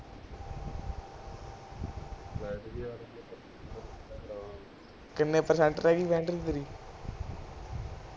ਕਿਨ੍ਹੇ ਪ੍ਰਤੀਸ਼ਤ ਰਹਿ ਗਯੀ ਬੈਟਰੀ ਤੇਰੀ